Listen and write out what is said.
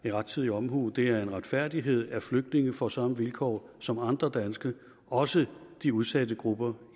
er rettidig omhu det er en retfærdighed at flygtninge får samme vilkår som andre danske også de udsatte grupper